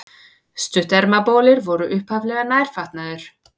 Stuttermabolir voru upphaflega nærfatnaður.